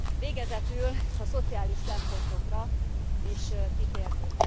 Végezetül a szociális szempontokra is kitérnék.